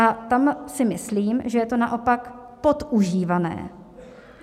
A tam si myslím, že je to naopak podužívané.